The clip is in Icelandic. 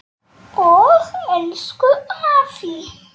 Og elsku afi.